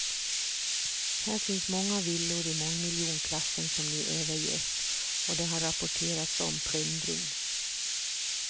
Här finns många villor i mångmiljonklassen som nu överges och det har rapporterats om plundring.